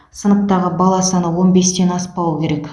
сыныптағы бала саны он бестен аспауы керек